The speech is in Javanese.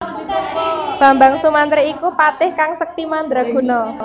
Bambang Sumantri iku patih kang sekti mandra guna